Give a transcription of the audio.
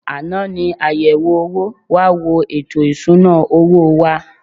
Àná ni àyẹ̀wò owó wá wo ètò ìsuna owó wa.